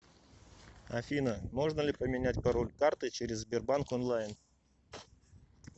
афина можно ли поменять пароль карты через сбербанк онлайн